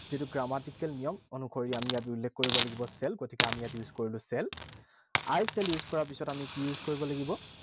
যিটো grammatical নিয়ম অনুসৰি আমি ইয়াত উল্লেখ কৰিব লাগিব shall, গতিকে আমি ইয়াত use কৰিলো shall. I shall use কৰা পিছত আমি কি use কৰিব লাগিব?